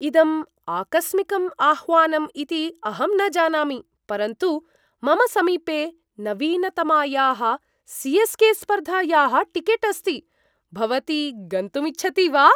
इदम् आकस्मिकम् आह्वानम् इति अहं जानामि, परन्तु मम समीपे नवीनतमायाः सी.एस्.के.स्पर्धायाः टिकेट् अस्ति। भवती गन्तुम् इच्छति वा?